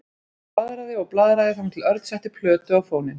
Hann blaðraði og blaðraði þangað til Örn setti plötu á fóninn.